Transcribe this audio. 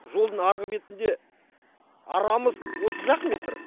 жолдың арғы бетінде арамыз отыз ақ метр